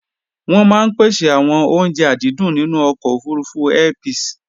wọ́n maá ń pèsè àwọn oúnje àdídùn nínú ọkọ̀ òfurufú Airpeace